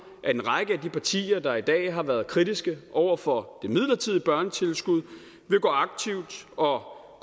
at en række af de partier der i dag har været kritiske over for det midlertidige børnetilskud vil gå aktivt og